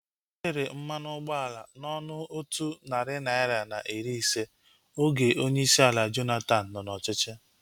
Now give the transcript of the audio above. Erere mmanụ ụgbọala na ọnụ otu narị naira na iri ise oge onyeisi ala Goodluck Jonathan nọ n'ọchịchị